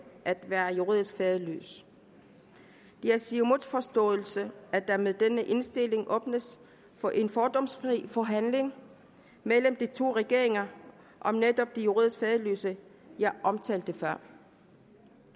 at være juridisk faderløs det er siumuts forståelse at der med denne indstilling åbnes for en fordomsfri forhandling mellem de to regeringer om netop de juridisk faderløse jeg omtalte før